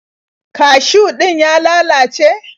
Kashiw din ya lalace?